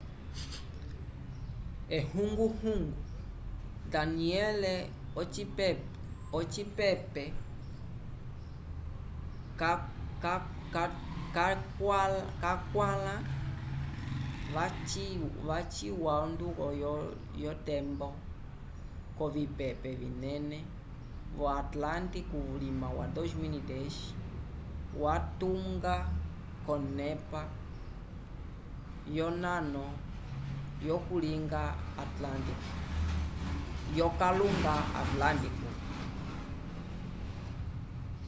ehunguhungu danielle ocipepe cakwãla yaciwa onduko kotembo yovipepe vinene vo atlântico vulima wa 2010 yalitunga konepa yonano yokalunga atlântico